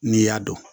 N'i y'a dɔn